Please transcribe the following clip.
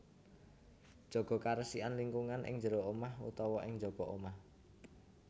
Jaga karesikan lingkungan ing jero omah utawa ing njaba omah